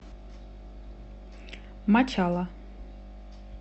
мачала